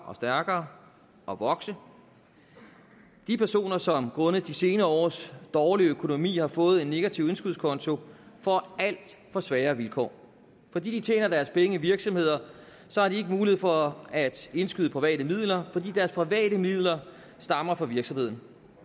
og stærkere og vokse de personer som grundet de senere års dårlige økonomi har fået en negativ indskudskonto får alt for svære vilkår fordi de tjener deres penge i virksomheder så har de ikke mulighed for at indskyde private midler fordi deres private midler stammer fra virksomheden